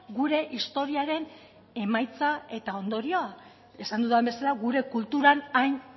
gure historiaren emaitza eta ondorioa esan dudan bezala gure kulturan hain